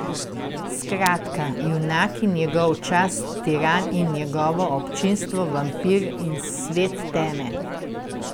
Skratka, junak in njegov čas, tiran in njegovo občinstvo, vampir in svet teme.